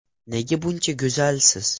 Nega buncha go‘zalsiz?